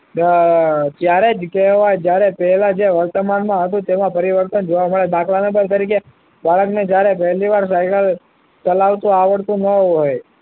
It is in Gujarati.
ત્યારે જ કહેવાય જ્યારે તે પહેલા વર્તમાનમાં હતું તેમાં પરિવર્તન જોવા મળે દાખલા નંબર તરીકે બાળકને જ્યારે પહેલીવાર સાયકલ ચલાવતા આવડતું ન હોય